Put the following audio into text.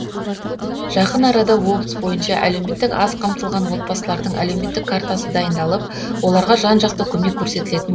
жақын арада облыс бойынша әлеуметтік аз қамтылған отбасылардың әлеуметтік картасы дайындалып оларға жан жақты көмек көрсетілетін